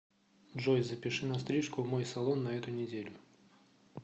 джой запиши на стрижку в мой салон на эту неделю